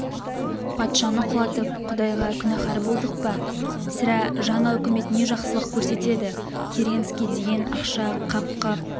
патшаны құлатып құдайға күнәһар болдық па сірә жаңа үкімет не жақсылық көрсетеді керенский деген ақша қап-қап